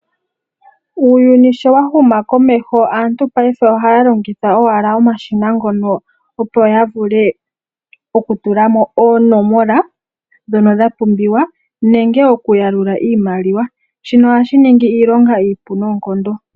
Uuyuni sho wa huma komeho aantu payife ohaya longitha owala omashina ngono opo ya vule okutula mo oonomola ndhono dha pumbiwa nenge okuyalula iimalia shino ohashi ningi iilonga iipu noonkondo.